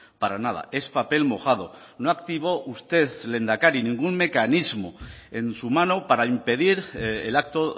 para nada es papel mojado no activó usted lehendakari ningún mecanismo en su mano para impedir el acto